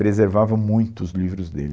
Preservava muito os livros dele.